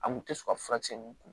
A kun tɛ sɔn ka furakisɛ ninnu kun